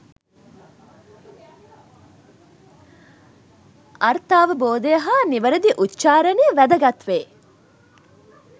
අර්ථාවබෝධය හා නිවැරැදි උච්චාරණය වැදගත් වේ.